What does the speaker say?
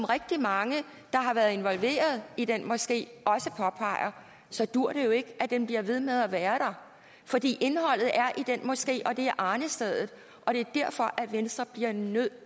rigtig mange der har været involveret i den moské også påpeger så duer det jo ikke at den bliver ved med at være der fordi indholdet er i den moské og det er arnestedet og det er derfor at venstre bliver nødt